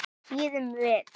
Bíðum við.